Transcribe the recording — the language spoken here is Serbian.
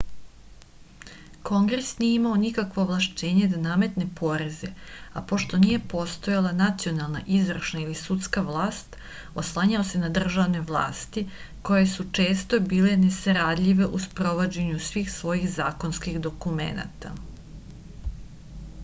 kongres nije imao nikakvo ovlašćenje da nametne poreze a pošto nije postojala nacionalna izvršna ili sudska vlast oslanjao se na državne vlasti koje su često bile nesaradljive u sprovođenju svih svojih zakonskih dokumenata